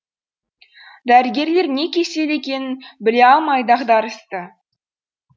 дәрігерлер не кесел екенін біле алмай дағдарысты